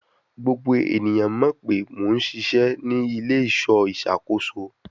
Gbogbo eniyan mọ pe Mo n ṣiṣẹ ni ile-iṣọ iṣakoso